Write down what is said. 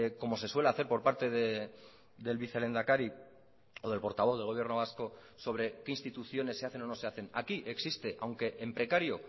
como se suele hacer por parte del vicelehendakari o del portavoz del gobierno vasco sobre qué instituciones se hacen o no se hacen aquí existe aunque en precario